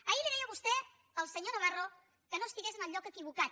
ahir li deia vostè al senyor navarro que no estigués en el lloc equivocat